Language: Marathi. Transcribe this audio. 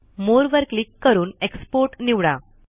मोरे वर क्लिक करून एक्सपोर्ट निवडा